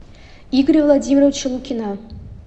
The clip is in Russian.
игоря владимировича лукина